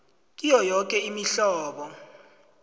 kiyo yoke imihlobo